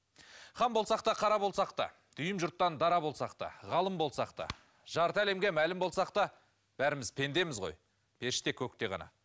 хан болсақ та қара болсақ та дүйім жұрттан дара болсақ та ғалым болсақ та жарты әлемге мәлім болсақ та бәріміз пендеміз ғой періште көкте ғана